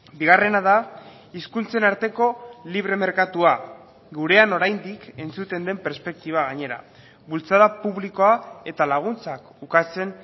bigarrena da hizkuntzen arteko libre merkatua gurean oraindik entzuten den perspektiba gainera bultzada publikoa eta laguntzak ukatzen